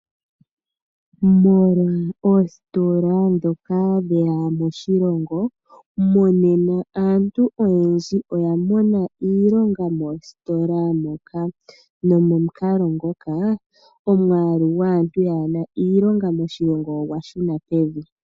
Molwa oositola ndhoka dhe ya moshilongo, monena aantu oyendji oya mona iilonga moositola moka, nomomukalo ngoka omwaalu gwaantu yaa na iilonga moshilongo ogwa shuna pevi.